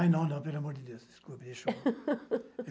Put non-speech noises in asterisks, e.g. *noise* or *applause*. Ah, não, não, pelo amor de Deus, desculpe, deixou. *laughs*